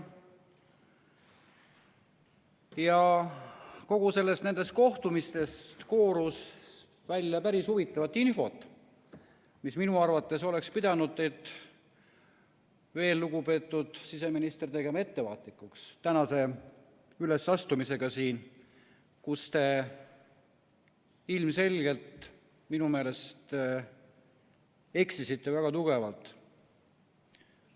Ja nendest kohtumistest koorus välja päris huvitavat infot, mis minu arvates oleks pidanud, lugupeetud siseminister, tegema ettevaatlikuks tänasel ülesastumisel siin, kus te ilmselgelt minu meelest eksisite väga tugevalt.